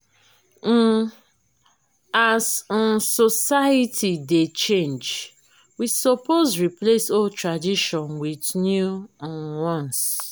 um as um society dey change we suppose replace old tradition wit new um ones.